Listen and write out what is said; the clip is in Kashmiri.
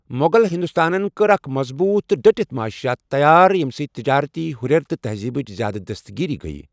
مغل ہندوستانن کٔر اکھ مضبوٗط تہٕ ڈٔٹتھ مُعاشِیات تیار، یَمہِ سۭتۍ تجٲرتی ہُرٮ۪ر تہٕ تہزیٖبٕچ زیادٕ دست گیری گیٔۍ۔